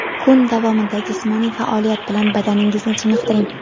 Kun davomida jismoniy faoliyat bilan badaningizni chiniqtiring;.